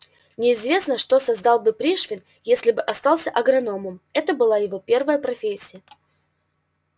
неизвестно что создал бы пришвин если бы остался агрономом это была его первая профессия